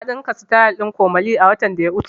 Na ɗinka sityl ɗin komole watan da ya wuce